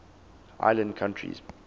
island countries